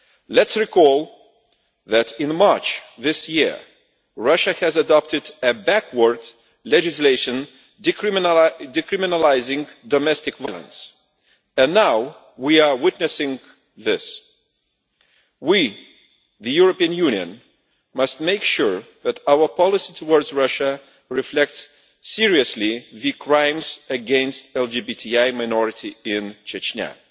Let us recall that in March this year Russia has adopted a backwards legislation decriminalising domestic violence, and now we are witnessing this. We, the European Union, must make sure that our policy towards Russia reflects seriously the crimes against the LGBTI minority in Chechnya.